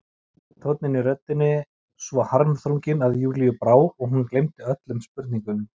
Tónninn í röddinni svo harmþrunginn að Júlíu brá og hún gleymdi öllum spurningum.